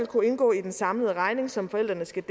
kunne indgå i den samlede regning som forældrene skal